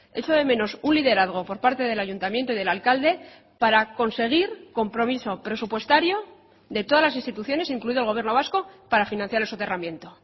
echo de menos un liderazgo por parte del ayuntamiento y del alcalde para conseguir compromiso presupuestario de todas las instituciones incluido el gobierno vasco para financiar el soterramiento